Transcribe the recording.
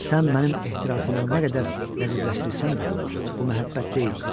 Sən mənim ehtirasımı nə qədər nəcibləşdirsən də, bu məhəbbət deyildi.